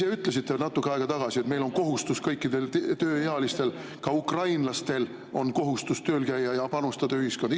Ise ütlesite natuke aega tagasi, et kõikidel tööealistel on kohustus, ka ukrainlastel on kohustus tööl käia ja panustada ühiskonda.